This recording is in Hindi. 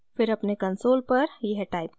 फिर अपने कंसोल पर यह टाइप करें: